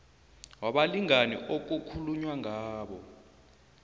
wabalingani okukhulunywa ngabo